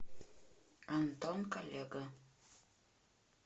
антон коллега